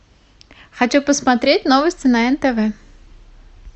хочу посмотреть новости на нтв